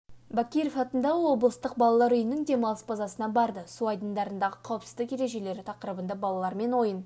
бакиров атындағы облыстық балар үйінің демалыс базасына барды су айдындарындағы қауіпсіздік ережелері тақырыбында балалармен ойын